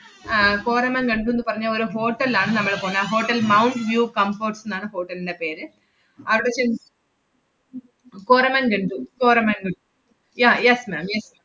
ആഹ് കോരമൻഗണ്ടൂന്ന് പറഞ്ഞ ഒരു hotel ലാണ് നമ്മള് പോന്നെ. ആ ഹോട്ടൽ മൗണ്ട് വ്യൂ കംഫര്‍ട്സ്ന്നാണ് hotel ന്‍റെ പേര്. അവടെ ചെ~ കോരമണ്‍ഗണ്ടു കോരമണ്ടു yeah yes ma'am yes ma'am